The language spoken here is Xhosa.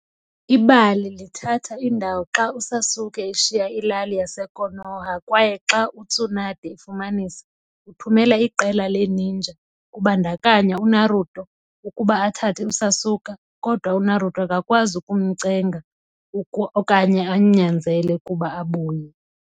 Ibali lithatha indawo xa uSasuke eshiya ilali yaseKonoha kwaye xa uTsunade efumanisa, uthumela iqela le-ninja, kubandakanya uNaruto, ukuba athathe uSasuke, kodwa uNaruto akakwazi ukumcenga okanye amnyanzele ukuba abuye.